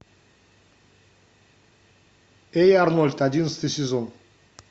эй арнольд одиннадцатый сезон